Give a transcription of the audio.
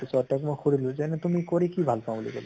ছত তাক মই সুধিলো যে এনে তুমি কৰি কি ভাল পাওঁ বুলি কলো